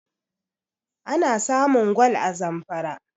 ana samun gwal a zamfara